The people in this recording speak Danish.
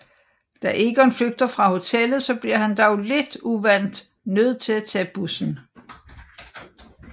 Da Egon flygter fra hotellet bliver han dog lidt uvant nød til at tage bussen